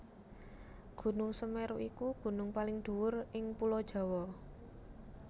Gunung Semeru iku gunung paling dhuwur ing Pulo Jawa